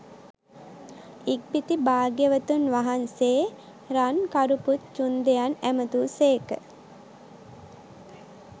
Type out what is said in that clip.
ඉක්බිති භාග්‍යවතුන් වහන්සේ රන්කරුපුත් චුන්දයන් ඇමතූ සේක